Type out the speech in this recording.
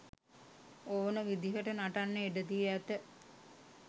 ඕන විදිහට නටන්න ඉඩදී ඇත.